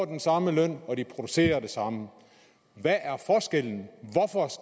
den samme løn og de producerer det samme hvad